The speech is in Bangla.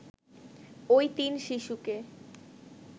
ওই তিন শিশুকে